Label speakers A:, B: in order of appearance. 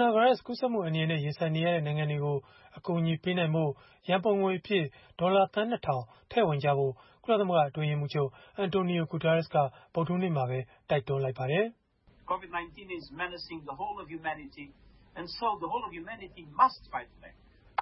A: နာဗိုင်းရပ်စ် ကူးစက်မှု အန္တရာယ်နဲ့ ရင်ဆိုင်နေရတဲ့ နိုင်ငံတွေကို အကူအညီပေးနိုင်ဖို့ ရန်ပုံငွေအဖြစ် ဒေါ်လာသန်း ၂ ထောင် ထည့်ဝင်ကြဖို့ ကုလသမဂ္ဂ အတွင်းရေးမှူးချုပ် Antonio Guterres က ဗုဒ္ဓဟူးနေ့မှာပဲ တိုက်တွန်းလိုက်ပါတယ်။